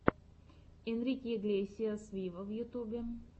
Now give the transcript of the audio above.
энрике иглесиас виво в ютубе